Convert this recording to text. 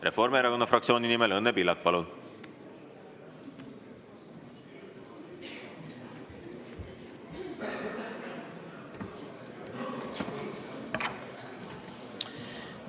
Reformierakonna fraktsiooni nimel Õnne Pillak, palun!